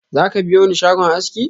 Zaka biyoni shagon aski?